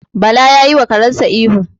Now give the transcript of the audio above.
Bala ya yiwa karensa ihu.